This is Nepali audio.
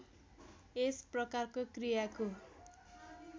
यस प्रकारको क्रियाको